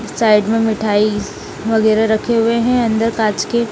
side में मिठाई वगैरह रखे हुए हैं अंदर कांच के --